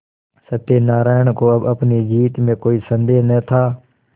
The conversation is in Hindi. सत्यनाराण को अब अपनी जीत में कोई सन्देह न था